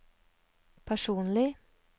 personlig